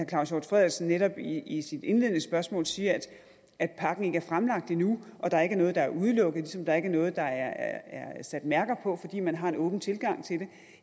claus hjort frederiksen netop i i sit indledende spørgsmål siger at pakken ikke er fremlagt endnu og at der ikke er noget der er udelukket ligesom der ikke er noget der er sat mærker på fordi man har en åben tilgang til